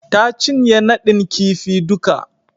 Ta cinye nadin kifi duka.